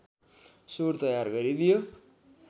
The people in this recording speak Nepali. सुर तयार गरिदियो